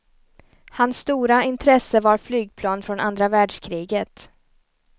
Hans stora intresse var flygplan från andra världskriget.